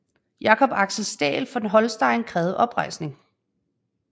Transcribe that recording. Jacob Axel Staël von Holstein krævede oprejsning